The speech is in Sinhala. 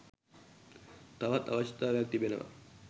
තවත් අවශ්‍යතාවයක් තිබෙනවා.